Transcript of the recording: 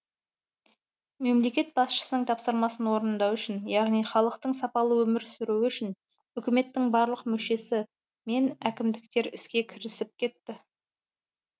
мемлекет басшысының тапсырмасын орындау үшін яғни халықтың сапалы өмір сүруі үшін үкіметтің барлық мүшесі мен әкімдер іске кірісіп кетті